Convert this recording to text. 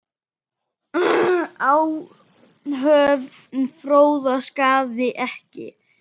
Áhöfn Fróða sakaði ekki.